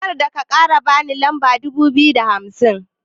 Karka kara ban lamba dubu biyu da hamsin.